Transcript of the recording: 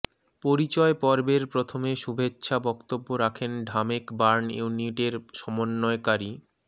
পরিচয় পর্বের প্রথমে শুভেচ্ছা বক্তব্য রাখেন ঢামেক বার্ন ইউনিটের সমন্বয়কারী ডা